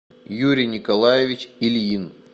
юрий николаевич ильин